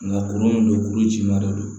Nka kurun in don kuru ci ma de don